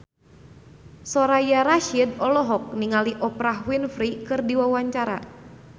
Soraya Rasyid olohok ningali Oprah Winfrey keur diwawancara